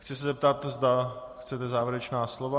Chci se zeptat, zda chcete závěrečná slova.